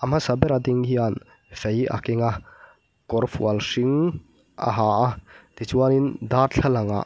a hmasa ber a ding hian fei a keng a kawr fual hring a ha a tichuanin darthlalangah --